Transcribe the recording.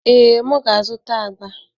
Ee, m ga-azụta agba.